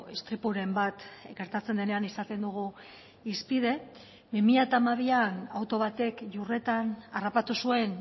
istripuren bat gertatzen denean izaten dugu hizpide bi mila hamabian auto batek iurretan harrapatu zuen